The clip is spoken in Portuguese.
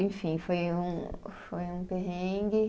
Enfim, foi um, foi um perrengue.